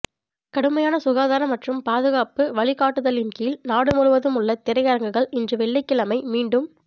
கடுமையான சுகாதார மற்றும் பாதுகாப்பு வழிகாட்டுதலின் கீழ் நாடு முழுவதும் உள்ள திரையரங்குகள் இன்று வெள்ளிக்கிழமை மீண்டும்